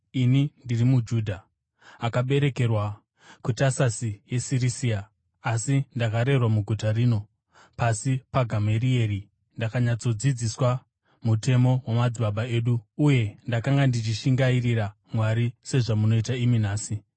“Ini ndiri muJudha, akaberekerwa kuTasasi yeSirisia, asi ndakarerwa muguta rino. Pasi paGamarieri ndakanyatsodzidziswa mutemo wamadzibaba edu uye ndakanga ndichishingairira Mwari sezvamunoita imi nhasi.